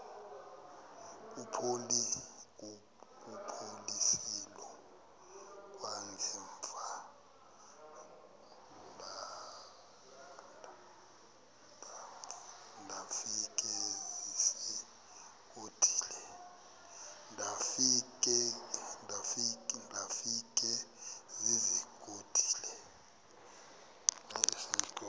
kuphosiliso kwangaemva ndafikezizikotile